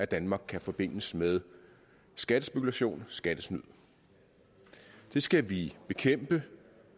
danmark kan forbindes med skattespekulation skattesnyd det skal vi bekæmpe